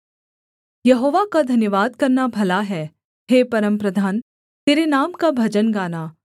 यहोवा का धन्यवाद करना भला है हे परमप्रधान तेरे नाम का भजन गाना